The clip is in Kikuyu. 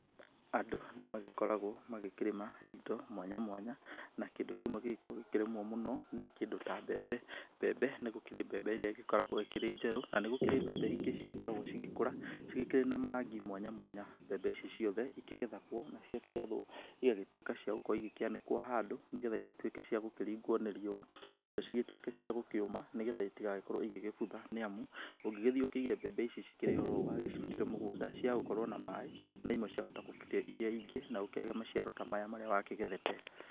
Andũ nĩmagĩkoragwo magĩkĩrĩma indo mwanya mwanya, na kĩndũ kĩmwe gĩgĩkoragwo gĩgĩkĩrĩmwo mũno mũno nĩ kĩndũ ta mbembe. Mbembe, ni gũkĩrĩ mbembe ĩrĩa ĩgĩkoragwo ĩkĩrĩ njerũ, na nĩ gũkĩrĩ mbembe ingĩ cigĩkoragwo cigĩkũra cigĩkĩrĩ na marangi mwanya mwanya. Mbebe ici ciothe ikĩgethagwo, na ciakĩgethwo igagĩtuĩka cia gũkorwo igĩkĩanĩkwo handũ, nĩ getha igĩtuĩke cia gũkĩringwo ni riũa, nacio cigĩtuĩke cia gũkĩũma, ni getha itigagĩkorwo igĩgĩbutha, nĩamu ungĩgĩthiĩ ũkĩige mbembe ici cikĩrĩ oro ũũ wagĩcirutire mũgũnda, ciaga gũkorwo na maaĩ, na imwe ciahota gũbuthia iria ingĩ, na ũkĩage maciaro ta maya marĩa wakĩgethete.